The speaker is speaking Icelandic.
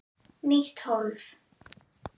Nýtt hólf.